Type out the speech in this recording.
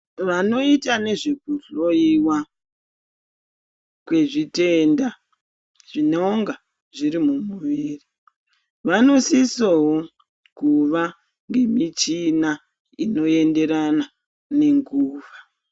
Vanoita nezvekuhloiwa kwezvitenda zvinonga zviri mumuviri vanosisowo kuva ngemichina inoenderana ngenguva.